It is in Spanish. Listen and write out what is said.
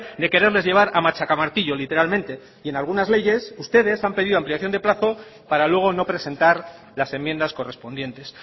de quererles llevar a machaca martillo literalmente y en algunas leyes ustedes han pedido ampliación de plazo para luego no presentar las enmiendas correspondientes